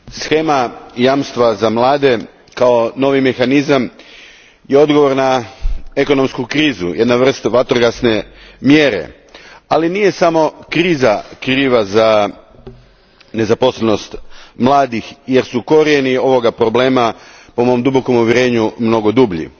Gospođo predsjednice, shema jamstva za mlade kao novi mehanizam je odgovor na ekonomsku krizu, jedna vrsta vatrogasne mjere. Ali nije samo kriza kriva za nezaposlenost mladih, jer su korijeni ovog problema po mom uvjerenju mnogo dublji.